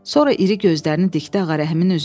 Sonra iri gözlərini dikdi Ağarəhimin üzünə.